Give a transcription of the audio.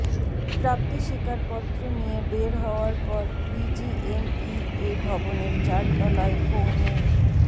প্রাপ্তি স্বীকার পত্র নিয়ে বের হওয়ার পর বিজিএমইএ ভবনের চারতলায়ই পৌনে